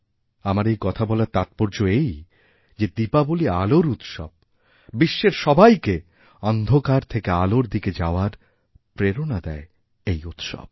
আমার এই কথা বলার তাৎপর্য এই যে দীপাবলী আলোর উৎসব বিশ্বের সবাইকে অন্ধকারথেকে আলোর দিকে যাওয়ার প্রেরণা দেয় এই উৎসব